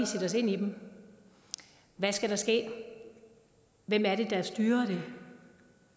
sætte os ind i dem hvad skal der ske hvem er det der styrer det